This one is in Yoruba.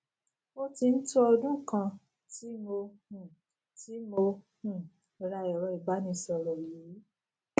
ó tí n tó ọdún kàn tí mo um tí mo um ra èrọ ìbánisòrò yìí